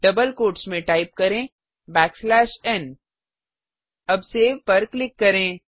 double quotes में type करें n अब सेव पर क्लिक करें